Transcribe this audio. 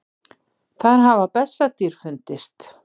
Þar hafa bessadýr fundist.